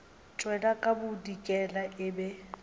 tšwela ka bodikela e be